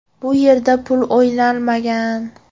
Bu yerda pul o‘ynalmagan.